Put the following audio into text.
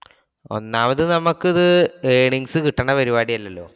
ഒന്നാമത് നമുക്ക് ഇത് earnings കിട്ടുന്ന പരിപാടി അല്ലലോ.